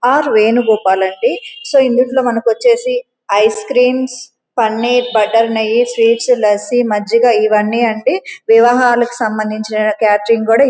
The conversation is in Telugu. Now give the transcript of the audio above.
ఆరువేలు రూపాయలండి సో ఈ వీక్ లో మనకొచేసి ఐస్ క్రమేపన్నీర్ బట్టర్ నెయ్యి స్వీట్స్ లస్సి మజ్జిగ ఇవన్నీ అంది వివాహాలకు సంబంధిచిన కేటరింగ్ కూడా --